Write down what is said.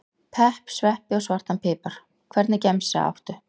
pepp, sveppi og svartan pipar Hvernig gemsa áttu?